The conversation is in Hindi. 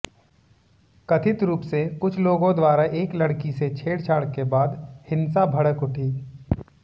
कथित रूप से कुछ लोगों द्वारा एक लड़की से छेड़छाड़ के बाद हिंसा भड़क उठी